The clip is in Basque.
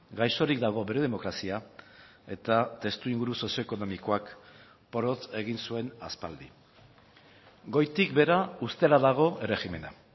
gaixorik dago bere demokrazia eta testuinguru sozioekonomikoak porrot egin zuen aspaldi goitik behera ustela dago erregimena